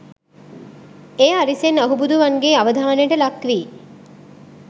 එය අරිසෙන් අහුබුදුවන්ගේ අවධානයට ලක් වී